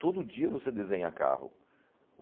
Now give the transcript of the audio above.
Todo dia você desenha carro.